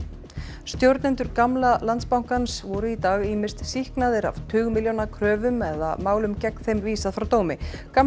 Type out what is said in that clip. stjórnendur gamla Landsbankans voru í dag ýmist sýknaðir af tugmilljóna kröfum eða málum gegn þeim vísað frá dómi gamli